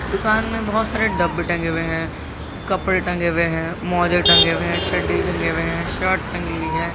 दुकान में बहोत सारे डब्बे टंगे हुए हैं कपड़े मोज़े टंगे हुए हैं चड्डी टगी हुई है शर्ट टगी हुई है।